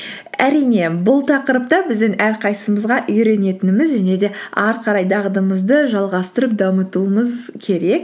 әрине бұл тақырыпты біздің әрқайсымызға үйренетініміз және де әрі қарай дағдымызды жалғастырып дамытуымыз керек